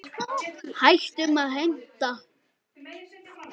Hættum að heimta!